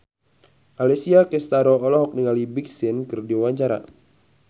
Alessia Cestaro olohok ningali Big Sean keur diwawancara